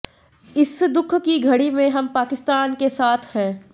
इस दुख की घड़ी में हम पाकिस्तान के साथ हैं